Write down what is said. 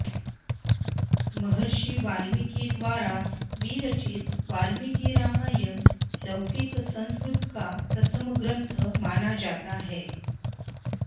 महर्षि वाल्मीकि द्वारा विरचित बाल्मीकि रामायण लौकिक संस्कृत का प्रथम ग्रंथ माना जाता है